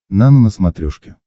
нано на смотрешке